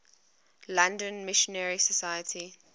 london missionary society